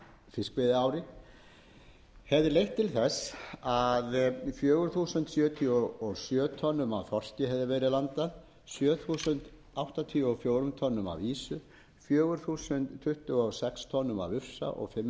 fiskveiðiári hefði valdið því að fjögur þúsund sjötíu og sjö tonnum af þorski sjö þúsund og áttatíu og fjórum tonnum af ýsu fjögur þúsund tuttugu og sex tonnum af ufsa og fimm hundruð